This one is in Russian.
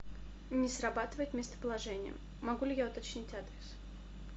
не срабатывает местоположение могу ли я уточнить адрес